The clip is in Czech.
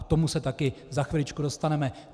K tomu se také za chviličku dostaneme.